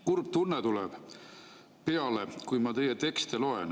Kurb tunne tuleb peale, kui ma teie tekste loen.